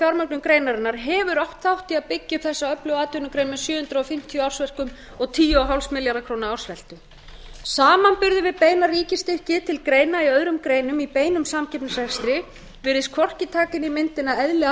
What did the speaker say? fjármögnun greinarinnar hefur átt þátt í að byggja upp þessa öflugu atvinnugrein með sjö hundruð fimmtíu ársverkum og tíu komma fimm milljarða króna ársveltu samanburður við beina ríkisstyrki til greina í öðrum greinum í beinum samkeppnisrekstri virðist hvorki taka inn í myndina eðli